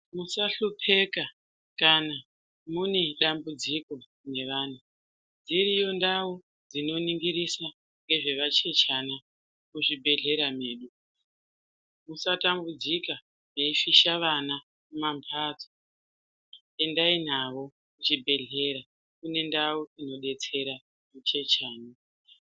Musahlupeka kana mune ndamudziko nevana dziriyo ndau dzinoningirisa ngezvevachechana muzvibhehlera mwedu musatambudzika mweifisha vana mumamhatso endai navo kuchibhehlera kune ndau inodetsera huchechana.